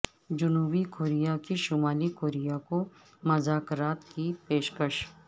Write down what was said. جنوبی کوریا کی شمالی کوریا کو مذاکرات کی پیشکش